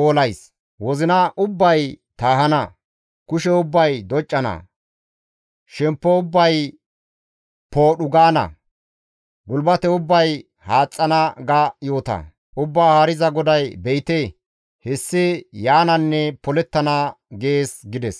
oolays; wozina ubbay taahana; kushe ubbay doccana; shemppo ubbay poodhu gaana; gulbate ubbay haaxxana› ga yoota. Ubbaa Haariza GODAY, ‹Be7ite hessi yaananne polettana› gees» gides.